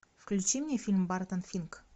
включи мне фильм бартон финк